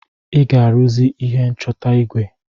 Ị ga-aruzi ihe nchọta igwe.